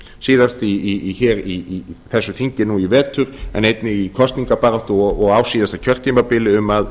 síðast hér í þessu þingi nú í vetur en einnig í kosningabaráttu og á síðasta kjörtímabili um að